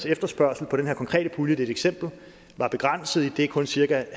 efterspørgsel på den her konkrete pulje det et eksempel var begrænset idet kun cirka